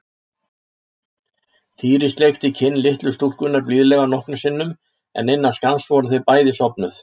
Týri sleikti kinn litlu stúlkunnar blíðlega nokkrum sinnum en innan skamms voru þau bæði sofnuð.